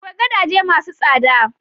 Akwai gadaje ma su tsada